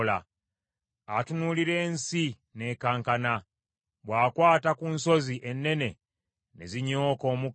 Atunuulira ensi, n’ekankana; bw’akwata ku nsozi ennene, ne zinyooka omukka.